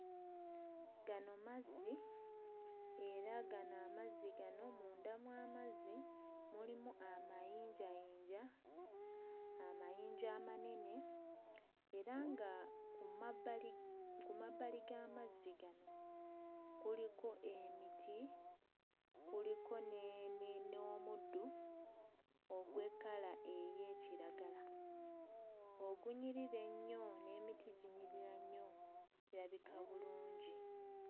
Gano mazzi era gano amazzi gano munda mw'amazzi mulimu amayinjayinja amayinja amanene era nga ku mabbali ku mabbali g'amazzi gano kuliko emiti kuliko n'emi n'omuddo ogw'ekkala ey'ekiragala ogunyirira ennyo n'emiti ginyirira nnyo birabika bulungi.